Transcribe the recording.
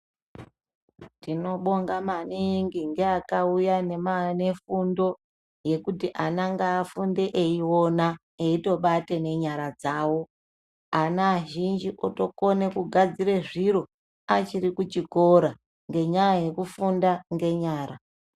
Tinobonga maningi nevakuya nefundo yekuti ana ngavafunde eyiona ayitobate nenyara dzawo ana azhinji otokona kugadzira zviro achiri kuchikora ngenyaya yekufunda ngenyara.